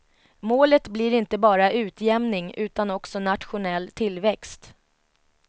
Målet blir inte bara utjämning utan också nationell tillväxt.